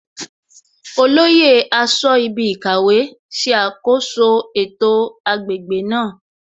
Olóyè aṣọ́ibikàwé ṣe àkoso ètò agbègbè náà